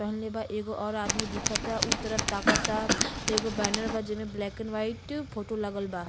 पहिनले बा एगो और आदमी दिखता। उ तरफ ताकता। एगो बैनर बा जेमे ब्लैक एंड व्हाइट फोटो लगल बा।